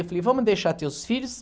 Eu falei, vamos deixar teus filhos.